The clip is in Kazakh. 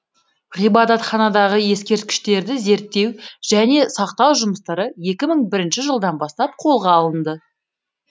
ғибадатханадағы ескерткіштерді зерттеу және сақтау жұмыстары екі мың бірінші жылдан бастап қолға алынды